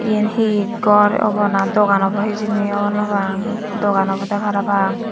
eyen he gor obow na dogan obow hijeni hobor no pang dogan obodey parapang.